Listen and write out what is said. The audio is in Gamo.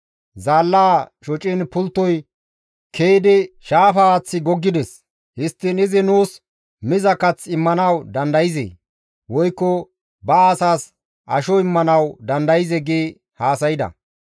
Zaallaa shociin pulttoy ke7idi shaafa haaththi goggides; histtiin izi nuus miza kath immanawu dandayzee? Woykko ba asaas asho immanawu dandayzee?» gi haasayda.